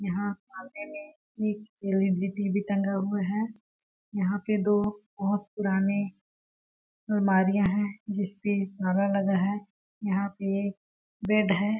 यहाँ एक L E D TV लगा हुआ है यहाँ पे दो बहोत पुराने अलमारियाँ है जिसपे ताला लगा है यहाँ पे एक बेड हैं।